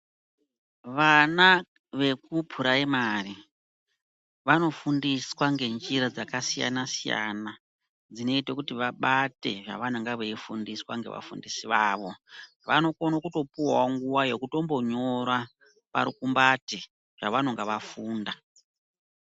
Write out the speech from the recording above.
Vana vekupuraimari vanofundiswa ngenjira dzakasiyana-siyana dzinoite kuti vabate zvavanenga veifundiswa ngevafundisi vavo. Vanokone kutopuwawo nguva yekutombonyora parukumbati zvavanenga vafunda.